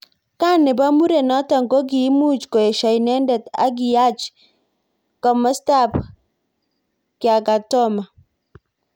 Kaa nebo murenotok kokimuch koesho inendet ak kiyach kimosta ab Kyakatoma.